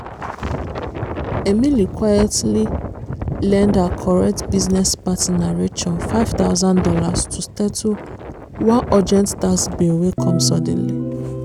emily quietly lend her correct business partner rachel five thousand dollars to settle one urgent tax bill wey come suddenly.